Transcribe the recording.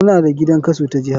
Muna da gidan kaso ta jiha.